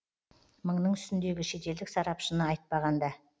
мыңның үстіндегі шетелдік сарапшыны айтпағанда